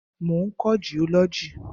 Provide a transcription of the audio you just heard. Mo ń kọ́ jiọ́lọ́jì.